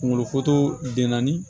Kunkolo den naani